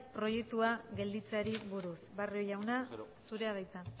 viap proiektua gelditzeari buruz barrio jauna zurea da hitza